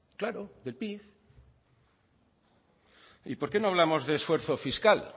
claro del pib y por qué no hablamos de esfuerzo fiscal